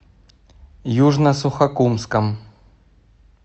южно сухокумском